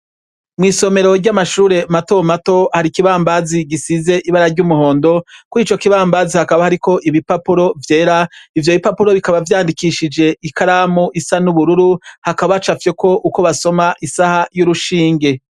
Mw'isomero ry'amashure matomato hari ikibambazi gisize ibara ry'umuhondo, kuri ico kibambazi hakaba hariko ibipapuro vyera ivyo bipapuro bikaba vyandikishije ikaramu isa n'ubururu hakaba hacafyeko uko basoma isaha y'urushinge.